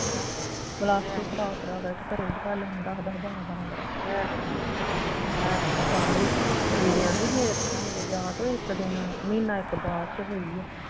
plus two ਕਰਾ ਕਰਾ ਇੱਥੇ ਘਰੇ ਬਿਠਾ ਲੰਦਾ, ਦਸ ਦਸ ਬਾਰਾਂ ਬਾਰਾਂ ਕਰਾਈਆਂ ਆਹ ਸਾਂਢੂ ਦੀਦੀ ਕਹਿੰਦੀ ਬਈ ਇਹ ਮੇਰਾ ਮੇਰੇ ਵਿਆਹ ਤੋਂ ਇੱਕ ਦਿਨ ਅਹ ਮਹੀਨਾ ਇਕ ਬਾਅਦ ਚੋਂ ਹੋਈ ਆ